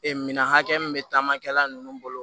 Ee minɛn hakɛ min bɛ taama kɛla ninnu bolo